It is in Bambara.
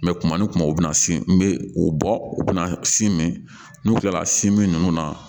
mɛ kuma ni kuma u bɛna sin n bɛ u bɔ u bɛna si min n'u kilala si min na